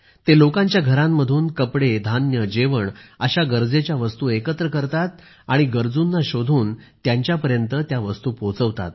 ते लोकांच्या घरांमधून कपडे धान्य जेवण अशा गरजेच्या वस्तू एकत्र करतात आणि गरजूंना शोधून त्यांच्यापर्यंत त्या वस्तू पोहोचवतात